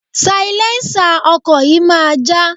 Sailẹ́ńsà ọkọ̀ yìí máa já.